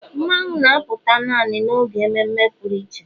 Mmanwu na-apụta naanị n'oge mmeme pụrụ iche